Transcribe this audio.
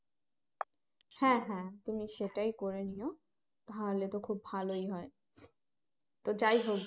হ্যাঁ হ্যাঁ তুমি সেটাই করে নিও তাহলে তো খুব ভালোই হয় তো যাই হোক